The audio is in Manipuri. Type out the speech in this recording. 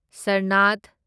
ꯁꯔꯅꯥꯊ